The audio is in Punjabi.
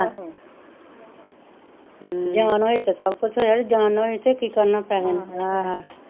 ਹਮ ਜਾਂਨ ਹੋਈ ਤਾਂ ਸੱਭ ਕੁਝ ਹੋਏਆ ਜਾਂ ਨਾਂ ਹੋਈ ਤਾਂ ਕੀ ਕਰਨ ਪੈਹੇ ਨੂੰ,